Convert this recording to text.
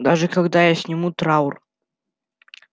даже когда я сниму траур